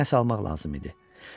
Nəsa almaq lazım idi.